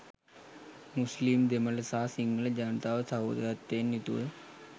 මුස්ලීම් දෙමළ සහ සිංහල ජනතාවට සහෝදරත්වයෙන් යුතුව